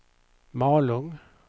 Malung